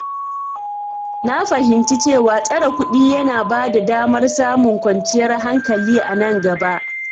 Na fahimci cewa tsare kuɗi yana ba da damar samun kwanciyar hankali a nan gaba.